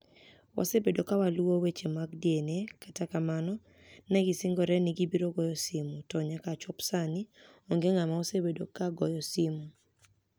Wasebedo ka waluwo weche mag DniA, kata kamano, ni e gisinigore nii gibiro goyo simu, to niyaka chop Saanii, onige nig'ama osebedo ka goyo simu.